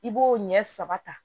I b'o ɲɛ saba ta